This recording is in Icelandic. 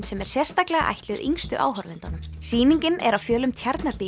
sem er sérstaklega ætluð yngstu áhorfendunum sýningin er á fjölum